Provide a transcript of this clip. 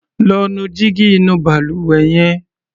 Lọ́ nu jígí inú balùwẹ̀ yẹn.